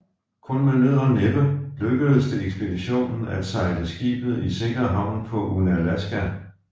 Kun med nød og næppe lykkedes det ekspeditionen at sejle skibet i sikker havn på Unalaska